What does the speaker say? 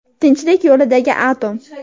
Tinchlik yo‘lidagi atom.